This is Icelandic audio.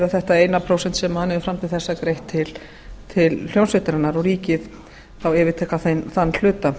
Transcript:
þetta eina prósent sem hann hefur fram til þessa greitt til hljómsveitarinnar og ríkið þá yfirtaka þann hluta